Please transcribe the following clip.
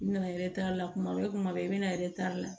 I bɛna la kuma bɛɛ kuma bɛɛ i bɛna la